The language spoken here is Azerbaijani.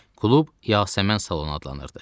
Klub Yasəmən salonu adlanırdı.